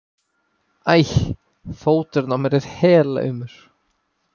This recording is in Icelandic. æ. fóturinn á mér er helaumur.